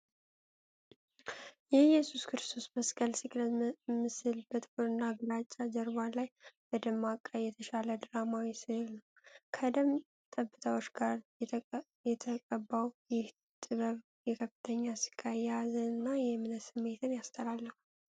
የኢየሱስ ክርስቶስ መስቀል ስቅለት ምስል በጥቁርና ግራጫ ጀርባ ላይ በደማቅ ቀይ የተሳለ ድራማዊ ሥዕል ነው። ከደም ጠብታዎች ጋር የተቀባው ይህ ጥበብ የከፍተኛ ስቃይ፣ የሀዘንና የእምነት ስሜትን ያስተላልፋል።